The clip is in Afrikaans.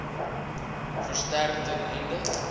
versterk ten einde